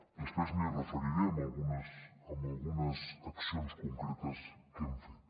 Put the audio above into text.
després m’hi referiré amb algunes accions concretes que hem fet